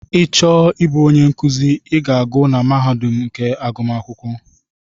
Ị chọọ ịbụ onye nkụzi I gụọ na mahadum nke agụmakwụkwọ.